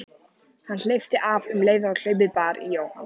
Hann hleypti af um leið og hlaupið bar í Jóhann.